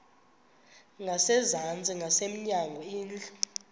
ngasezantsi ngasemnyango indlu